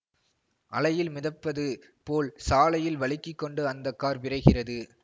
அலையில் மிதப்பது போல் சாலையில் வழுக்கிக் கொண்டு அந்த கார் விரைகிறது